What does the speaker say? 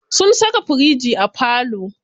Sun saka firiji a falo.